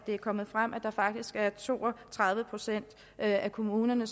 er kommet frem at der faktisk er to og tredive procent af kommunerne